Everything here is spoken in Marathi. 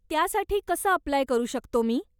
त्यासाठी कसं अप्लाय करू शकतो मी?